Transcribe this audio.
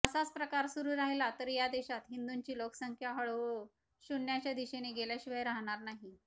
असाच प्रकार सुरू राहिला तर या देशात हिंदूंची लोकसंख्या हळूहळू शून्याच्या दिशेने गेल्याशिवाय राहाणार नाही